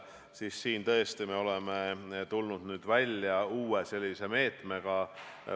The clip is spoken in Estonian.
Siin me tõesti oleme tulnud välja uue meetmega.